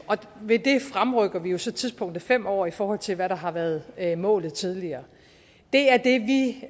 ved det fremrykker vi jo så tidspunktet fem år i forhold til hvad der har været været målet tidligere det er det vi